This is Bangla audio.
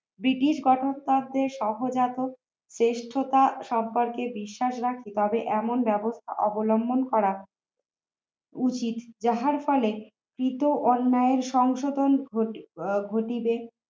British কথাটাতে সহজাত শ্রেষ্ঠতার সম্পর্কে বিশ্বাস রাখি তবে এমন ব্যবহার অবলম্বন করা উচিত যাহার ফলে কৃত অন্যায়ের সংশোধন ঘটে ঘটিবে